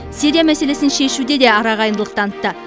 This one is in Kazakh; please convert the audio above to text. сирия мәселесін шешуде де арағайындылық танытты